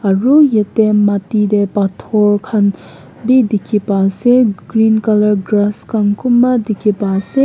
aru yate matti teh pathor khan bhi dikhi pai ase green colour grass khan kunba dikhi pai ase.